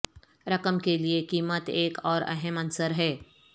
رقم کے لئے قیمت ایک اور اہم عنصر ہے